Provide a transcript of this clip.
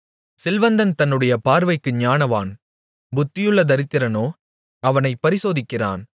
செல்வந்தன் தன்னுடைய பார்வைக்கு ஞானவான் புத்தியுள்ள தரித்திரனோ அவனைப் பரிசோதிக்கிறான்